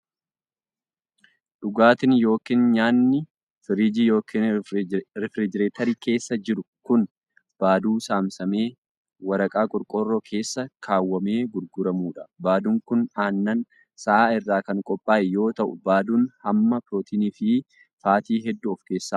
Dhugaatiin yokin nyaanni firiijii yokin rifirijeetarii keessa jiru kun, baaduu saamsamee waraqaa qorqoorroo keessa kaawwamee gurguramuu dha. Baaduun kun, aannan sa'aa irraa kan qophaa'e yoo ta'u, baaduun hamma pirootinii fi faatii hedduu of keessaa qaba.